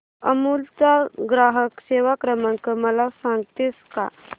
अमूल चा ग्राहक सेवा क्रमांक मला सांगतेस का